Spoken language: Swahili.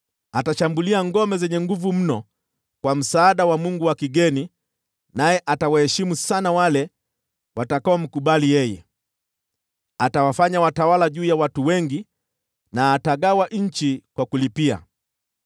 Atashambulia ngome zenye nguvu mno kwa msaada wa mungu wa kigeni naye atawaheshimu sana wale watakaomkubali yeye. Atawafanya watawala juu ya watu wengi, na atagawa nchi kwa gharama.